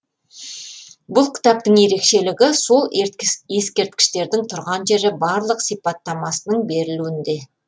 бұл кітаптың ерекшелігі сол ескерткіштердің тұрған жері барлық сипаттамасының берілуінде